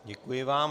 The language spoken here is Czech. Děkuji vám.